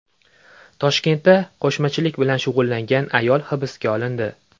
Toshkentda qo‘shmachilik bilan shug‘ullangan ayol hibsga olindi.